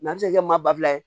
a bɛ se ka kɛ maa ba fila ye